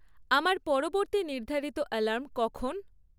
আমার পরবর্তী নির্ধারিত অ্যালার্ম কখন?